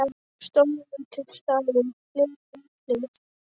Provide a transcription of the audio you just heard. Stór og lítill stafur hlið við hlið.